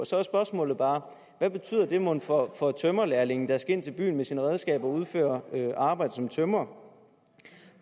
så er spørgsmålet bare hvad betyder det mon for tømrerlærlingen der skal ind til byen med sine redskaber og udføre arbejde som tømrer